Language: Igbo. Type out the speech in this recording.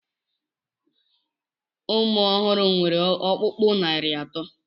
Ụmụ ọhụrụ nwere ọkpụkpụ narị atọ.